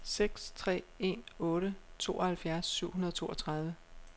seks tre en otte tooghalvfjerds syv hundrede og toogtredive